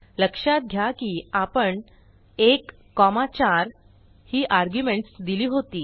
लक्षात घ्या की आपण 1 4 ही आर्ग्युमेंट्स दिली होती